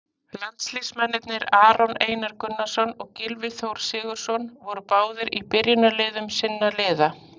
Landsliðsmennirnir Aron Einar Gunnarsson og Gylfi Þór Sigurðsson voru báðir í byrjunarliðum sinna liða.